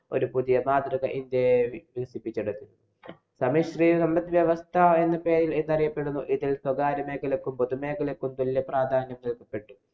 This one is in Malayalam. ഒരു പുതിയ മാതൃക ഇന്‍ഡ്യ വികസിപ്പിച്ചെടുത്തു. സമ്മിശ്രീകരണ സമ്പദ് വ്യവസ്ഥ എന്നൊക്കെ അറിയപ്പെടുന്ന ഇതില്‍ സ്വകാര്യ മേഖലയ്ക്കും. പൊതുമേഖലയ്ക്കും തുല്യപ്രാധാന്യം നല്‍കപ്പെട്ടു.